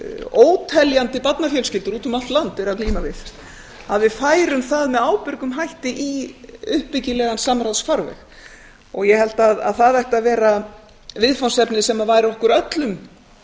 óteljandi barnafjölskyldur úti um allt land eru að glíma við að við færum það með ábyrgum hætti í uppbyggilegan samráðsfarveg ég held að það ætti að vera viðfangsefni sem væri okkur öllum